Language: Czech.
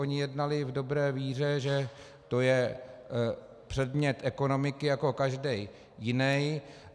Oni jednali v dobré víře, že to je předmět ekonomiky jako každý jiný.